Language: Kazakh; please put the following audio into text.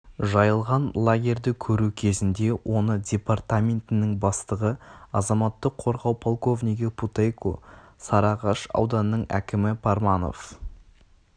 жайылған лагерьді көру кезінде оны департаментінің бастығы азаматтық қорғау полковнигі путейко сарыағаш ауданының әкімі парманов